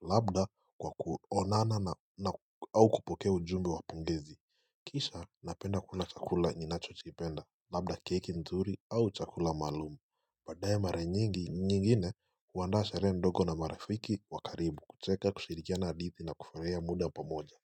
Labda kwa kuonana na au kupokea ujumbe wa pongezi Kisha napenda kula chakula ninacho kipenda labda cake nzuri au chakula maalumu baadaye mara nyingi nyingine huwandaa sharehe ndogo na marafiki wakaribu kucheka kushirikiana hadithi na kufuraia muda pamoja.